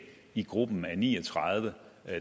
i gruppen med de ni og tredive